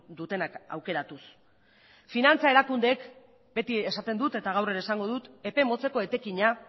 dutenak aukeratuz finantza erakundeek beti esaten dut eta gaur ere esango dut epe motzeko etekina